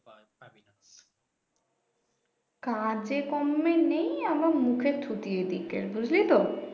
কাজেকম্মে নেই আবার মুখে . এইদিকে বুঝলি তো